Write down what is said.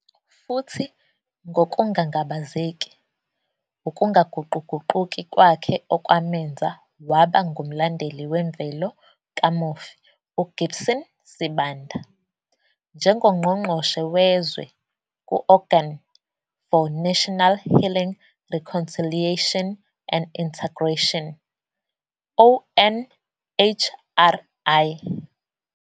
Futhi, ngokungangabazeki, ukungaguquguquki kwakhe okwamenza waba ngumlandeli wemvelo kamufi uGibson Sibanda njengoNgqongqoshe Wezwe ku-Organ for National, Healing, Reconciliation and Integration, ONHRI.